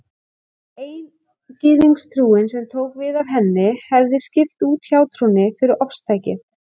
Eingyðistrúin, sem tók við af henni, hefði skipt út hjátrúnni fyrir ofstækið.